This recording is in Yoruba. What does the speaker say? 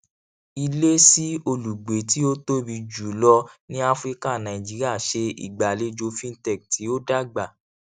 ilé sí olùgbé tí ó tóbi jùlọ ni áfríkà nàìjíríà ṣe ìgbàlejò fintech tí o dàgbà